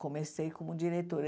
Comecei como diretora.